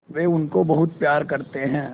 वे उनको बहुत प्यार करते हैं